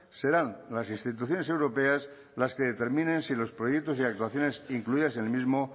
serán las instituciones europeas las que determinen si los proyectos y actuaciones incluidas en el mismo